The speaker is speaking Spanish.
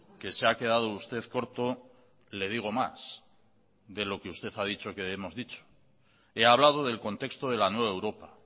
que se ha quedado usted corto le digo más de lo que usted ha dicho que hemos dicho he hablado del contexto de la nueva europa